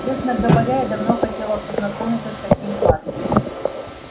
честно говоря я давно хотела познакомиться с таким парнем